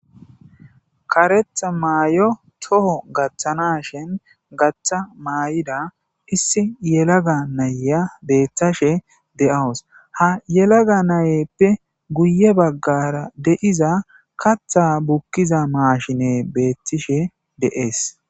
karetha maayo toho gaththana shin gaththa maay7ida issi yelaga nayya beeththashe de7awus ha yelaga nayeppe guye baggara deiza katha bukkiza maashine beettishe de7ees